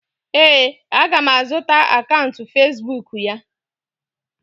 ee, a ga m azụta akaụntụ Facibụkụ ya.